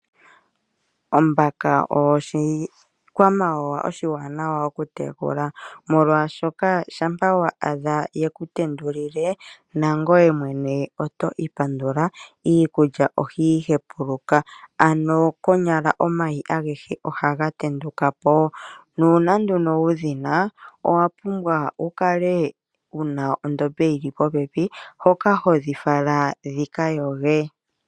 Ombaka oyo oshikwamawawa oshiwanawa okutekula, molwashoka shampa wa adha ye ku tendulile, nangoye mwene oto ipandula. Iikulya ohayi hepuluka. Ano konyala omayi agehe ohaga tenduka po. Nuuna nduno wu dhi na, owa pumbwa wu kale wu na ondombe yi li popepi hoka ho dhi fala dhi ka yoge.